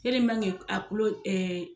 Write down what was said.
a kulo